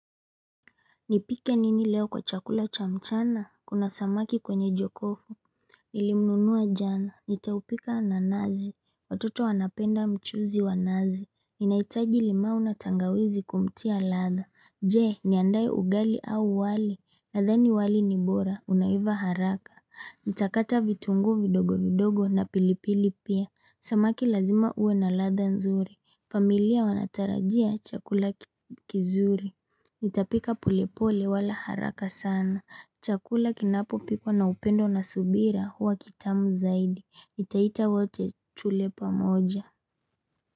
Nipike nini leo kwa chakula cha mchana, kuna samaki kwenye jokofu Nilimnunua jana, nitaupika na nazi, watoto wanapenda mchuzi wa nazi Ninaitaji limau na tangawizi kumtia ladha Je, niandaye ugali au wali, nadhani wali ni bora, unaiva haraka Nitakata vitunguu vidogo vidogo na pilipili pia, samaki lazima ue na ladha nzuri familia wanatarajia chakula kizuri nitapika polepole wala haraka sana. Chakula kinapo pikwa na upendo na subira huwa kitamu zaidi. Nitaita wote tule pamoja.